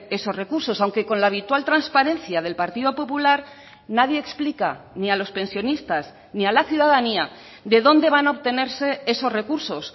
esos recursos aunque con la habitual transparencia del partido popular nadie explica ni a los pensionistas ni a la ciudadanía de dónde van a obtenerse esos recursos